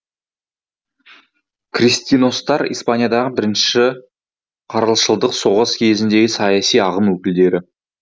кристиностар испаниядағы бірінші карлшылдық соғыс кезіндегі саяси ағым өкілдері